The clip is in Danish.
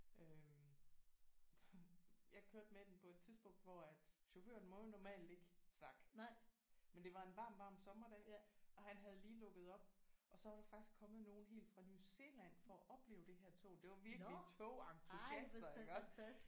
Øh jeg kørte med den på et tidspunkt hvor at chaufføren må jo normalt ikke snakke men det var en varm varm sommerdag og han havde lige lukket op og så var der faktisk kommet nogle helt fra New Zealand for at opleve det her tog det var virkelig togentusiaster iggås